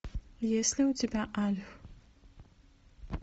есть ли у тебя альф